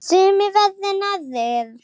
Sumir verri en aðrir.